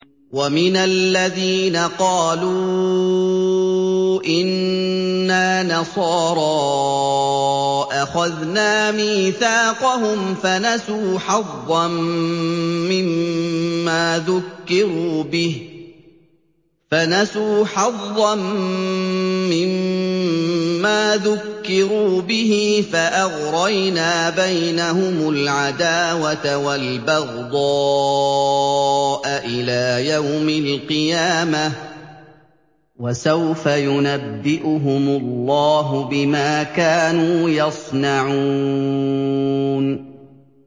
وَمِنَ الَّذِينَ قَالُوا إِنَّا نَصَارَىٰ أَخَذْنَا مِيثَاقَهُمْ فَنَسُوا حَظًّا مِّمَّا ذُكِّرُوا بِهِ فَأَغْرَيْنَا بَيْنَهُمُ الْعَدَاوَةَ وَالْبَغْضَاءَ إِلَىٰ يَوْمِ الْقِيَامَةِ ۚ وَسَوْفَ يُنَبِّئُهُمُ اللَّهُ بِمَا كَانُوا يَصْنَعُونَ